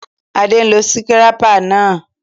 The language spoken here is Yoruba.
Adé n lo síkírépà náà